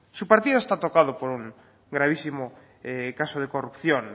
su partido está tocado por un gravísimo caso de corrupción